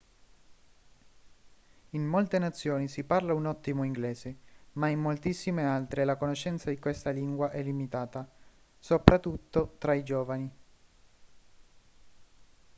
in molte nazioni si parla un ottimo inglese ma in moltissime altre la conoscenza di questa lingua è limitata soprattutto tra i giovani